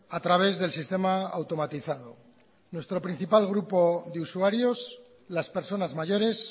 a través del sistema automatizado nuestro principal grupo de usuarios las personas mayores